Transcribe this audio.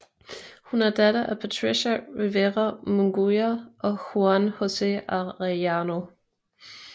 Hun er datter af Patricia Rivera Munguia og Juan Jose Arellano